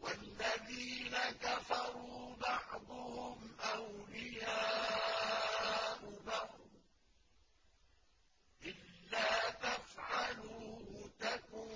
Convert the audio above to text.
وَالَّذِينَ كَفَرُوا بَعْضُهُمْ أَوْلِيَاءُ بَعْضٍ ۚ إِلَّا تَفْعَلُوهُ تَكُن